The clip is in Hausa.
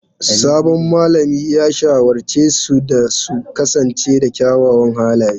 Sabon malamin ya shawarce su da su kasance da kyawawan halaye.